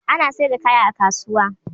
Ana saida kaya a kasuwa